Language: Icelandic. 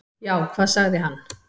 """Já, hvað sagði hann?"""